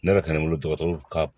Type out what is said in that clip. Ne yɛrɛ ka n bolo dɔgɔtɔrɔ ka